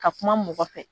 Ka kuma mɔgɔ fɛ